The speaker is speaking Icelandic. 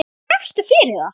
Hvað gafstu fyrir það?